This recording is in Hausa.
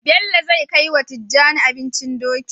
Bello zai kai wa tijjani abincin Dokin